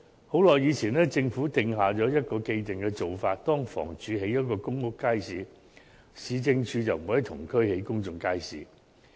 許久以前，政府定下了一個既定做法，若房屋署在某區興建了一個公屋街市，市政局就不會在同區興建另一公眾街市。